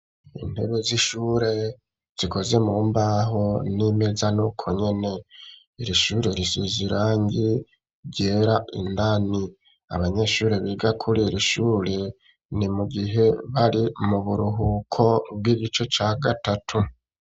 Intebe z'ishure, zikoze mu mbaho, n'imeza ni uko nyene; iri shure, risize irangi ryera, indani; abanyeshure, biga kuri iri shuri, ni mu gihe, bari mu buruhuko, bw'igice ca gatatu.